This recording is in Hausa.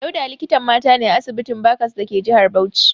Dauda likitan mata ne a asibitin Barcas dake jihar Bauchi.